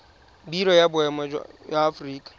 biro ya boemo ya aforika